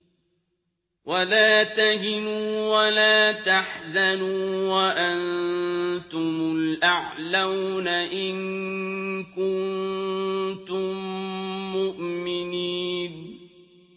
وَلَا تَهِنُوا وَلَا تَحْزَنُوا وَأَنتُمُ الْأَعْلَوْنَ إِن كُنتُم مُّؤْمِنِينَ